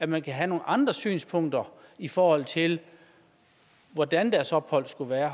man kan have nogle andre synspunkter i forhold til hvordan deres ophold skulle være